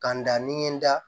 Ka n da ni n ye n da